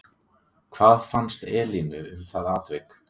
Hvað fannst Elínu um það atvik?